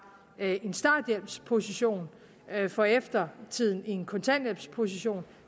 en starthjælpsposition for eftertiden en kontanthjælpsposition